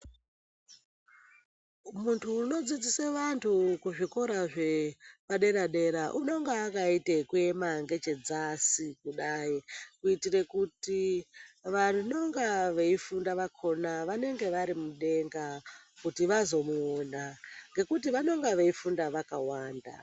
Muntu unodzidzise vantu kuzvikora zvepadera-dera unonga akaita ekuema ngechedzasi kudai. Kuitire kuti vanonga veifunda vakona vanenge vari mudenga kuti vazomuona, ngekuti vanonga veifunda vakawanda.